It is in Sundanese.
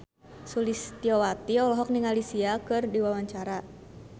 Sulistyowati olohok ningali Sia keur diwawancara